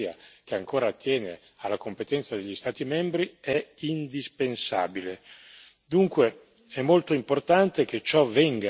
Il rispetto delle norme, anche se questa è una materia che ancora attiene alla competenza degli Stati membri, è indispensabile.